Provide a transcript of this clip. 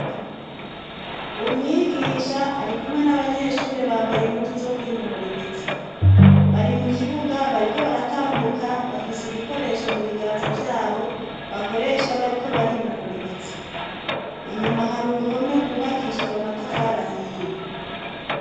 Umwigisha ari kumwe n'abanyeshure bambaye impunzu zo ku inonora imitsi bari mu kibuga bariko baratambuka bafise ibikoresho mu biganza vyabo bakoresha bariko bari inonora imitsi inyuma hari uruhome rwubakishijwe matafari ahiye.